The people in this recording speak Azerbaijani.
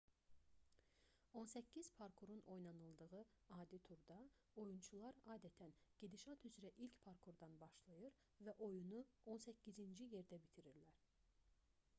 on səkkiz parkurun oynanıldığı adi turda oyunçular adətən gedişat üzrə ilk parkurdan başlayır və oyunu on səkkizinci yerdə bitirirlər